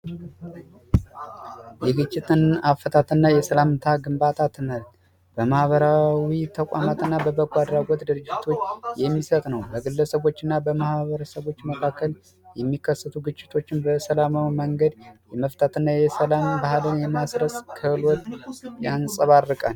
የግጭት አፈታት እና የሰላምታ ግንባታ ትምህርት በማህበራዊ ተቋማት እና በበጎ አድራጎት ድርጅት የሚሰጥ ነው። በግለሰቦች እና በማህበረሰቦች መካከል የሚከሰቱ ግጭቶችን በሰላማዊ መንገድ መፍታት እና የሰላም ባህልን የማስረፅ ክህሎት ያንፀባርቃል።